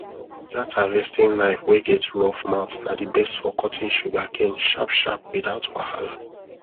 that harvesting knife wey get rough mouth na the best for cutting sugarcane sharp sharp without wahala